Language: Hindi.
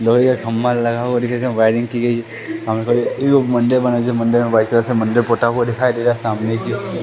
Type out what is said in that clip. लोहे का खम्मा लगा हुआ दिखेगा वायरिंग की गई मंदिर पोता हुआ दिखाई दे रहा सामने की ओ--